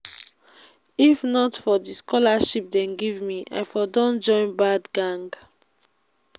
if not for the scholarship dey give me i for don join bad gang